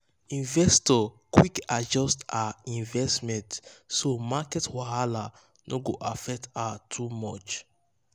investor quick adjust her investment so market wahala no go affect her too much.